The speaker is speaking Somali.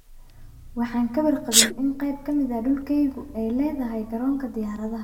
Waxaan ka warqabin in qayb ka mid ah dhulkayagu ay leedahay Garoonka Diyaaradaha.